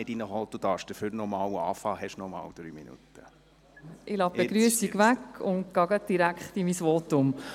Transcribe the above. Ich lasse die Begrüssung weg und starte direkt mit meinem Votum.